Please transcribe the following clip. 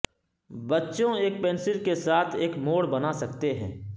بچوں ایک پنسل کے ساتھ ایک موڑ بنا سکتے ہیں